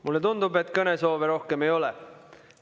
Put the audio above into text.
Mulle tundub, et kõnesoove rohkem ei ole.